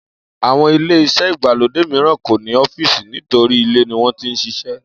Àwo̩n ilé-is̩é̩ ìgbàlódé mìíràn kò ní ó̩fíìsì nítorí ilé ni wó̩n ti ń s̩is̩é̩